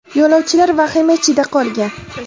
Yo‘lovchilar vahima ichida qolgan.